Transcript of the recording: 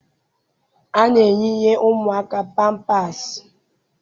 A na-eyinye ụmụaka pampaasị